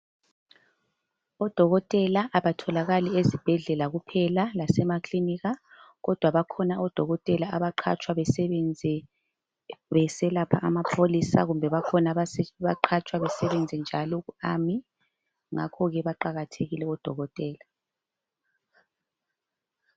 Odokotela abatholakali ezibhedlela kuphela lasema klinika kodwa bakhona odokotela abaqatshwa besebenze beselapha amapholisa kumbe bakhona abaqatshwa besebenze njalo ku Army ngakho ke baqakathekile odokotela